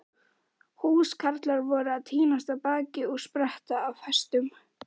Húskarlar voru að tínast af baki og spretta af hestum.